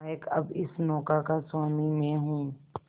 नायक अब इस नौका का स्वामी मैं हूं